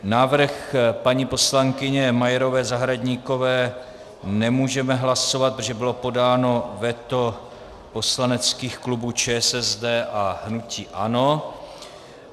Návrh paní poslankyně Majerové Zahradníkové nemůžeme hlasovat, protože bylo podáno veto poslaneckých klubů ČSSD a hnutí ANO.